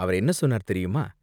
அவர் என்ன சொன்னார் தெரியுமா?